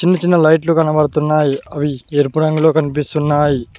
చిన్నచిన్న లైట్లు కనబడుతున్నాయి అవి ఎరుపు రంగులో కనిపిస్తున్నాయి.